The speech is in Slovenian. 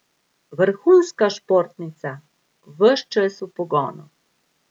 Vrhunska športnica, ves čas v pogonu.